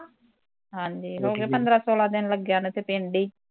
ਹਾਂਜੀ ਹੋਗੇ ਪੰਦਰਾਂ ਸੌਲਾ ਦਿਨ ਲੱਗਿਆ ਨੂੰ, ਏਥੇ ਪਿੰਡ ਈ